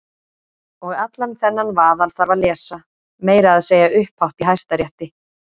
Og allan þennan vaðal þarf að lesa- meira að segja upphátt í Hæstarétti!